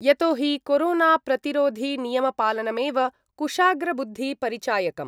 यतोहि कोरोनाप्रतिरोधीनियमपालनमेव कुशाग्रबुद्धिपरिचायकम्।